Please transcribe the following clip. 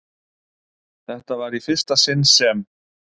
Þetta var í fyrsta sinn sem